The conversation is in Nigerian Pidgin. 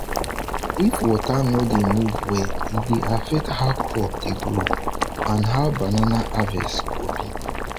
if water no dey move well e dey affect how crop dey grow and how banana harvest go be